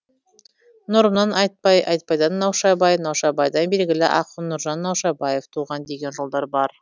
нұрымнан айтбай айтбайдан наушабай наушабайдан белгілі ақын нұржан наушабаев туған деген жолдар бар